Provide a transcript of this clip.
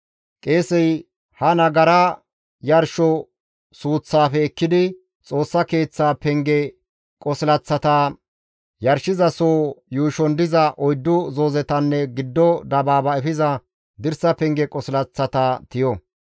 Qeesey ha nagara yarsho suuththafe ekkidi, Xoossa Keeththa penge qosilaththata, yarshizaso yuushon diza oyddu zoozetanne giddo dabaaba efiza dirsa penge qosilaththata tiyo.